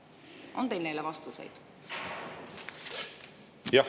On teil neile vastuseid?